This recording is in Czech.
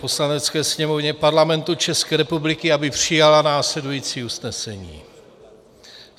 Poslanecké sněmovně Parlamentu České republiky, aby přijala následující usnesení: